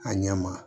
A ɲɛ ma